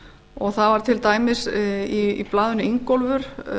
og það var til dæmis í blaðinu ingólfur